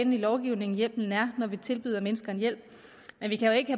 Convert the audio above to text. lovgivningen hjælpen er at finde når vi tilbyder mennesker hjælp vi kan jo ikke